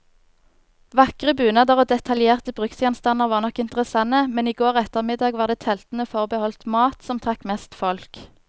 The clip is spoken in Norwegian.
Vakre bunader og detaljerte bruksgjenstander var nok interessante, men i går ettermiddag var det teltene forbeholdt mat, som trakk mest folk.